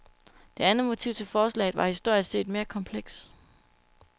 Det andet motiv til forslaget var historisk set mere kompleks.